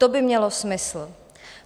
To by mělo smysl.